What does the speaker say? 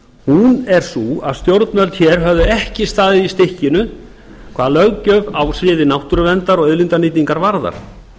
hún er sú að stjórnvöld hér höfðu ekki staðið í stykkinu hvað löggjöf á sviði náttúruverndar og auðlindanýtingar varðar